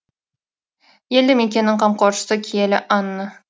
елді мекеннің қамқоршысы киелі анна